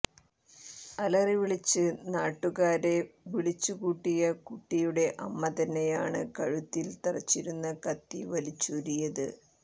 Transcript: അലറിവിളിച്ച് നാടുക്കാരെ വിളിച്ചു കൂട്ടിയ കുട്ടിയുടെ അമ്മ തന്നെയാണ് കഴുത്തിൽ തറച്ചിരുന്ന കത്തി വലിച്ചൂരിയത്